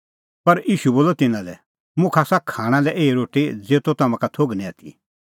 पर ईशू बोलअ तिन्नां लै मुखा आसा खाणां लै एही रोटी ज़ेतो तम्हां का थोघ निं आथी